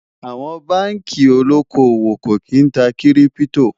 àwọn bánkì olókó owó kò kín tá kírìpitò